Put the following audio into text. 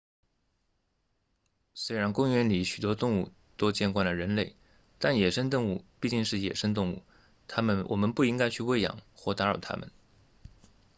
虽然公园里许多动物都见惯了人类但野生动物毕竟是野生动物我们不应该去喂养或打扰它们